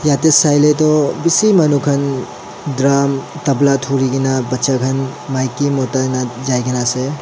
etu sailey toh bishi manu khan drum tabla duri kena bacha khan maiki mota eneka jai kena ase.